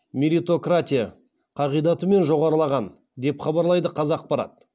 меритократия қағидатымен жоғарылаған деп хабарлайды қазақпарат